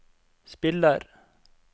spiller